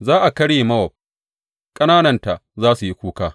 Za a karye Mowab; ƙanananta za su yi kuka.